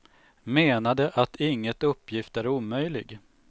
Menade att inget uppgift är omöjlig.